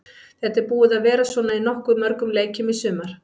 Þetta er búið að vera svona í nokkuð mörgum leikjum í sumar.